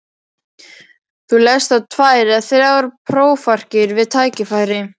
Þú lest þá tvær eða þrjár prófarkir við tækifæri.